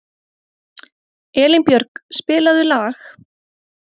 Elínbjörg, spilaðu lag.